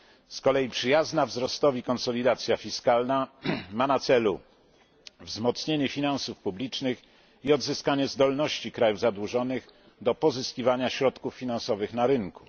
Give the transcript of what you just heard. Z kolei przyjazna wzrostowi konsolidacja fiskalna ma na celu wzmocnienie finansów publicznych i odzyskanie zdolności krajów zadłużonych do pozyskiwania środków finansowych na rynku.